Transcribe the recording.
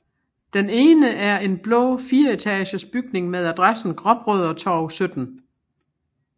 Den ene er en blå fireetages bygning med adressen Gråbrødretorv 17